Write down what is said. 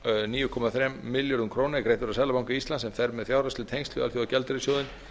níu komma þremur milljörðum króna er greiddur af seðlabanka íslands sem fer með fjárhagsleg tengsl við alþjóðagjaldeyrissjóðinn